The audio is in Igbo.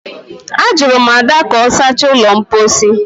Ajụrụ m Ada ka ọ sachaa ụlọ mposi